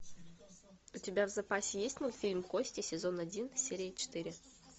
у тебя в запасе есть мультфильм кости сезон один серия четыре